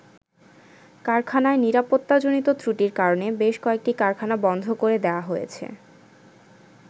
কারখানায় নিরাপত্তাজনিত ত্রুটির কারণে বেশ কয়েকটি কারখানা বন্ধ করে দেয়া হয়েছে।